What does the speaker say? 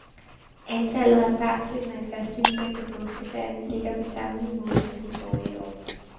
Antallet af fartsyndere i første weekend af påskeferien ligger på samme niveau som de forrige år.